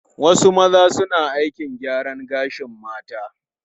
Wasu maza suna aikin gyaran gashin mata.